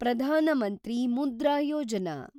Pradhan Mantri Mudra Yojana